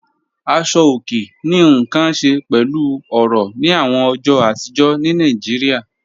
Àṣọ̀ ọ̀kè ní nkàn ṣẹ̀ pẹ̀lú ọ̀rọ̀ ni awọn ọjọ́ àtìjọ̀ ní Naijíríà.